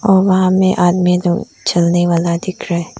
और वहां में आदमी जो चलने वाला दिख रहा है।